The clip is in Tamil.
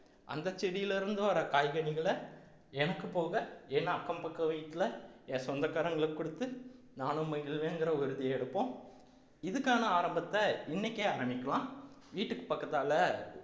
அந்த செடியில இருந்து வர காய்கறிகளை எனக்கு போக என் அக்கம் பக்கம் வீட்டுல என் சொந்தக்காரங்களுக்கு கொடுத்து நானும் மகிழ்வேங்கிற உறுதி எடுப்போம் இதுக்கான ஆரம்பத்தை இன்னைக்கே ஆரம்பிக்கலாம் வீட்டுக்கு பக்கத்தால